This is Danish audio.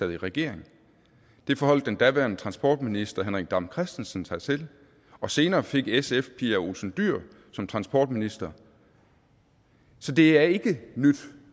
i regering det forholdt den daværende transportminister herre henrik dam kristensen sig til og senere fik sf fru pia olsen dyhr som transportminister så det er ikke nyt